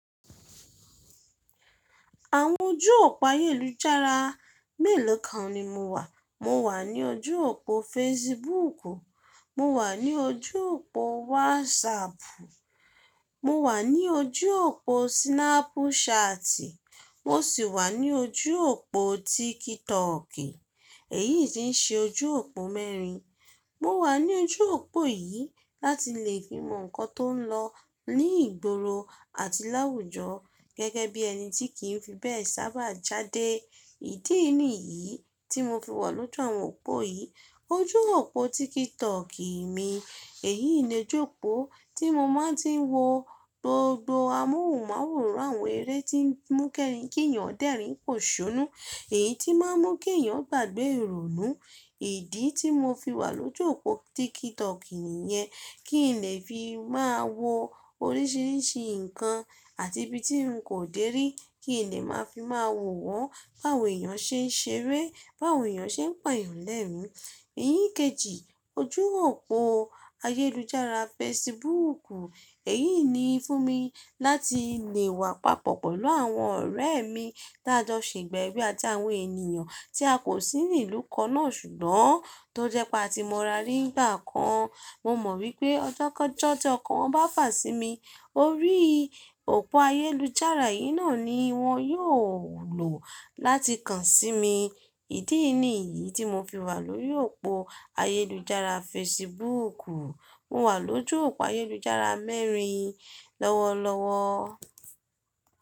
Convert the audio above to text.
Àwọn ojú òpó ayélujára mélòó kan ni mo wà. Mo wà ní ojú òpó Facebook, mo wà ní ojú òpó WhatsApp, mo wà ní ojú òpó Snapchat, mo sì wà ní ojú òpó TikTok. Èyí ti ń ṣe ojú òpó mẹ́rin. Mo wà ní ojú òpó yìí láti lè fi mọ nǹkan tó ń lọ ní ìgboro àti láwùjọ gẹ́gẹ́ bí ẹni tí kì í fi bẹ́ẹ̀ sábà jáde. Ìdí nìyí tí mo fi wà lójú àwọn òpó yìí. Ojú òpó TikTok mi èyí ni oju opo tí mo máa ti n wo gbogbo amóhùnmáwòrán àwọn eré tí ń mú kí ènìyàn dẹ́rìn pòṣónú, èyí tí má ń mú kí ènìyàn gbàgbé ìrònú. Ìdí tí mo fi wà lójú òpó TikTok nìyẹn, kí n lè fi máa wo oríṣiríṣi nǹkan àti ibi tí n kò dèrí, kí n lè máa fi máa wò wọ́n, báwo ènìyàn ṣe ń ṣeré, báwo ènìyàn ṣe ń pàyàn lẹ́rìn-ín. Ìyíkejì ojú òpó ayélujára Facebook, èyí ni fún mi láti lè wà papọ̀ pẹ̀lú àwọn ọ̀rẹ́ mi tí a jọ ṣègba ewé àti àwọn ènìyàn tí a kò sí ní ìlú kannán ṣùgbọ́n tó jẹ́ pé a ti mọ ara ri nígbà kan. Mo mọ̀ wípé ọjọ́kọọjọ tí ọkàn wọn bá fà sí mi, orí òpó ayélujára yìí náà ni wọ́n yóò lò láti kan sí mi. Ìdí nìyí tí mo fi wà lórí òpó ayélujára Facebook. Mo wà lójú òpó ayélujára mẹ́rin lọ́wọ́lọ́wọ́.